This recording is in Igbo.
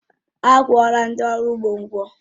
Akwuọla ndị ọrụ ugbo ụgwọ